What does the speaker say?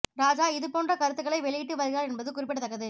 ராஜா இது போன்ற கருத்துகளை வெளியிட்டு வருகிறார் என்பது குறிப்பிடத் தக்கது